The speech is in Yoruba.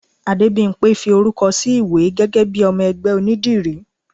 Adébimpé fí orúkọ sí iwe gégé bi ọmọ ẹgbẹ onídìrí